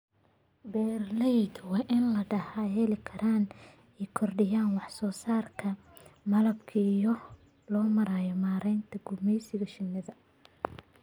Beeralayda waa in ay lahaadaan xeelado ay ku kordhinayaan wax soo saarka malabka iyada oo loo marayo maaraynta gumeysiga shinnida.